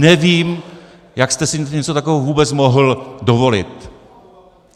Nevím, jak jste si něco takového vůbec mohl dovolit.